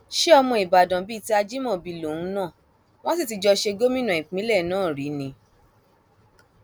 ṣe ọmọ ìbàdàn bíi ti ajimobi lòun náà wọn sì ti jọ ṣe gómìnà ìpínlẹ náà rí ni